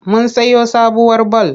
Mun sayo sabuwar bal.